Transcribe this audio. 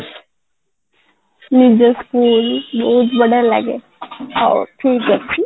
ନିଜ school ବହୁତ ବଢିଆ ଲାଗେ ହଉ ଠିକ ଅଛି